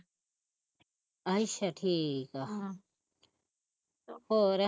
ਅੱਛਾ ਠੀਕ ਆ ਹਮ ਹੋਰ